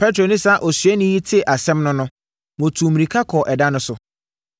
Petro ne saa osuani yi tee asɛm no no, wɔtuu mmirika kɔɔ ɛda no so.